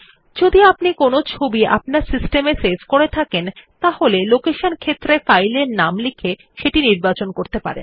যদি আপনি কোনো ছবি আপনার সিস্টেম এ সেভ করে থাকেন তাহলে লোকেশন ক্ষেত্রে ফাইলের নাম লিখে সেটি নির্বাচন করতে পারেন